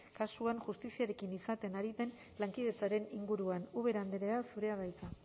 kasuan justiziarekin izaten ari den lankidetzaren inguruan ubera andrea zurea da hitza